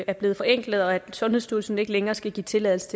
er blevet forenklet og at sundhedsstyrelsen ikke længere skal give tilladelse